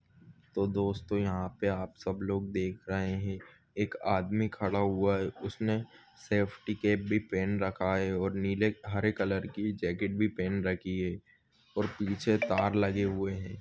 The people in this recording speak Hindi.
तो दोस्तो यहाँ पे आप सब लोग देख रहे है एक आदमी खडा हुआ है उसने सेफ्टी कॅप भी पेहन रखा है और निले हरे कलर कि जॅकेट भी पेहन रखी है और पीछे तार लगे हुए है।